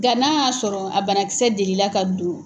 Nga n'a y'a sɔrɔ a banakisɛ delila ka don